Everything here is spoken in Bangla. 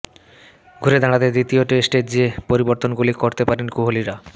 ঘুরে দাঁড়াতে দ্বিতীয় টেস্টে যে পরিবর্তনগুলি করতে পারেন কোহালিরা